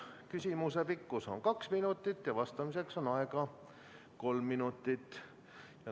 Küsimuse pikkus on kaks minutit, vastamiseks on aega kolm minutit.